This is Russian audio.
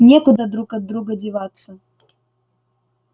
некуда друг от друга деваться